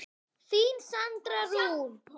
Þín Sandra Rún.